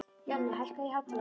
Jonni, hækkaðu í hátalaranum.